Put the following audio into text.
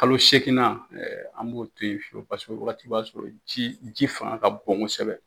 Kalo seegin na, an b'o to yen fiyewo. Paseke o wagati b'a sɔrɔ ji fanga ka bon kosɛbɛ.